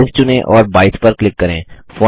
size चुनें और 22 पर क्लिक करें